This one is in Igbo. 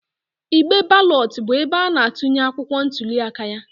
Igbe balọt bụ ebe ana-atụnye akwụkwọ ntuliaka ya.